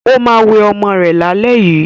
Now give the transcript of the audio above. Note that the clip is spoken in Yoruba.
ọ má wẹ omó rè là lè yí.